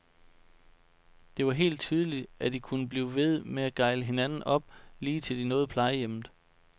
Det var helt tydeligt, at de kunne blive ved med at gejle hinanden op, lige til de nåede plejehjemmet.